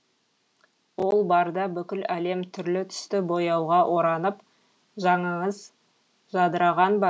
ол барда бүкіл әлем түрлі түсті бояуға оранып жаныңыз жадыраған ба